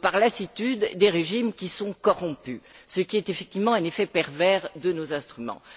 par lassitude, des régimes qui sont corrompus, ce qui est effectivement un effet pervers de nos instruments.